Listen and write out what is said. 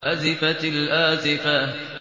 أَزِفَتِ الْآزِفَةُ